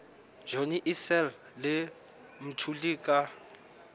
johnny issel le mthuli ka